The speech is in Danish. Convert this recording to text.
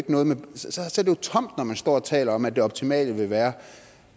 tom når man står og taler om at det optimale ville være